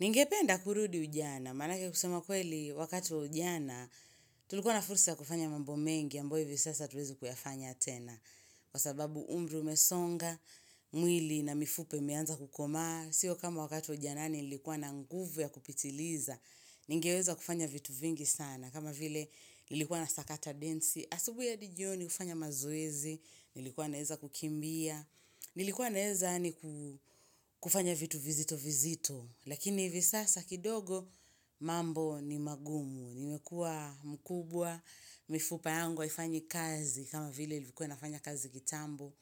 Ningependa kurudi ujana, manake kusema kweli wakati ujana, tulikuwa na fursa ya kufanya mambo mengi, ambayo hivyo sasa hatuwezi kuyafanya tena. Kwa sababu umri umesonga, mwili na mifupa imeanza kukomaa, sio kama wakati ujanani nilikuwa na nguvu ya kupitiliza, nigeweza kufanya vitu vingi sana. Kama vile nilikuwa na sakata densi, asubuhi hadi joni, kufanya mazoezi, nilikuwa naeza kukimbia, nilikuwa naeza kufanya vitu vizito vizito. Lakini hivi sasa kidogo mambo ni magumu, nimekuwa mkubwa, mifupa yangu haifanyi kazi kama vile ilikuwa inafanya kazi kitambo,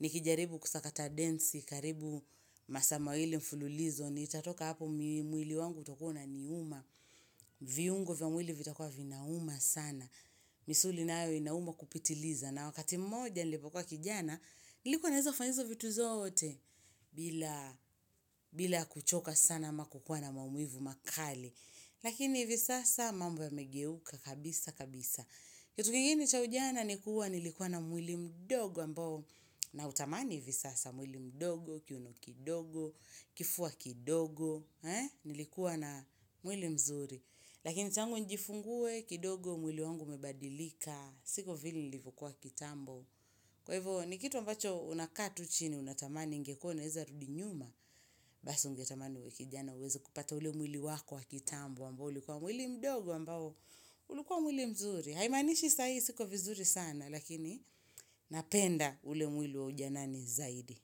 nikijaribu kusakata densi, karibu masaa mawili mfululizo, nitatoka hapo mwili wangu utokuwa unaniuma, viungo vya mwili vitakuwa vinauma sana, misuli nayo inauma kupitiliza. Na wakati mmoja nilipokuwa kijana, nilikuwa naweza fanya hizo vitu zote bila bila kuchoka sana ama kukuwa na mamuivu makali. Lakini hivi sasa mambo yamegeuka kabisa kabisa. Kitu kingine cha ujana ni kuwa nilikuwa na mwili mdogo ambao na utamani hivi sasa mwili mdogo, kiuno kidogo, kifua kidogo. Nilikuwa na mwili mzuri. Lakini tangu njifungue, kidogo mwili wangu umebadilika siko vile nilivyo kuwa kitambo kwa hivyo ni kitu ambacho una kaa tu chini unatamani ingekuwa unaweza rudi nyuma basi ungetamani uwe kijana uweze kupata ule mwili wako wa kitambo, ambao ulikuwa mwili mdogo ambao ulikuwa mwili mzuri, haimanishi saa hii siko vizuri sana, lakini napenda ule mwili wa ujanani zaidi.